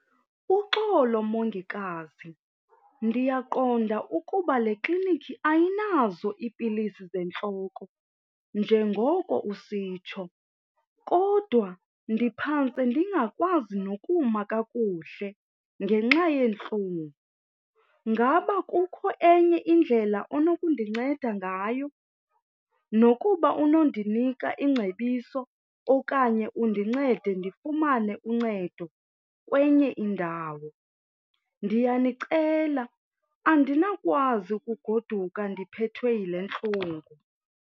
Uxolo mongikazi, ndiyaqonda ukuba le klinikhi ayinazo iipilisi zentloko njengoko usitsho kodwa ndiphantse ndingakwazi nokuma kakuhle ngenxa yeentlungu. Ngaba akukho enye indlela onokundinceda ngayo nokuba unondinika ingcebiso okanye undincede ndifumane uncedo kwenye indawo? Ndiyanicela, andinakwazi ukugoduka ndiphethwe yile ntlungu.